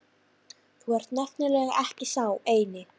Þú ert nefnilega ekki sá eini